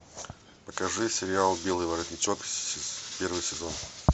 покажи сериал белый воротничок первый сезон